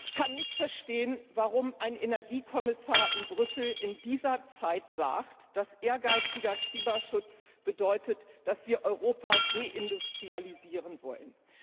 Ich kann nicht verstehen, warum ein Energiekommissar in Brüssel in dieser Zeit sagt, dass ehrgeiziger Klimaschutz bedeutet, dass wir Europa deindustrialisieren wollen.